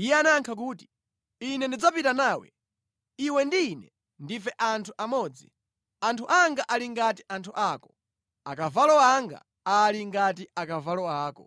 Iye anayankha kuti, “Ine ndidzapita nawe. Iwe ndi ine ndife anthu amodzi, anthu anga ali ngati anthu ako, akavalo anga ali ngati akavalo ako.”